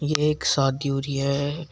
एक शादी हो रही है।